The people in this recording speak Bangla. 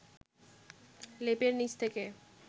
লেপের নিচ থেকে